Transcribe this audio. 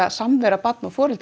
samvera barna og foreldra